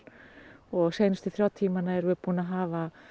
og seinustu þrjá tímana erum við búin að hafa